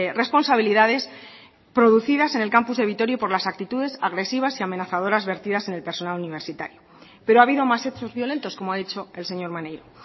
responsabilidades producidas en el campus de vitoria y por las actitudes agresivas y amenazadores vertidas en el personal universitario pero ha habido más hechos violentos como ha dicho el señor maneiro